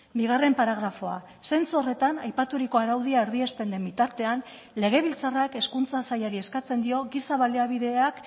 bigarren paragrafoa zentzu horretan aipaturiko araudia erdiesten den bitartean legebiltzarrak hezkuntza sailari eskatzen dio giza baliabideak